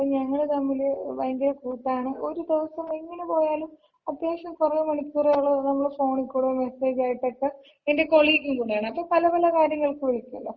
അപ്പോ ഞങ്ങള് തമ്മില് ഭയങ്കര കൂട്ടാണ്. ഒര് ദെവസം എങ്ങന പോയാലും അത്യാവശ്യം കൊറെ മണിക്കൂറുകള് നമ്മള് ഫോണികൂടെയും മെസ്സേജ് ആയിട്ടൊക്ക, എന്‍റെ കൊളീഗും കൂടെയാണ്. അപ്പൊ നമ്മള് പല പല കാര്യങ്ങൾക്ക് വിളിക്കുവല്ലോ.